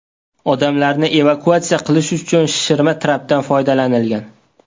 Odamlarni evakuatsiya qilish uchun shishirma trapdan foydalanilgan.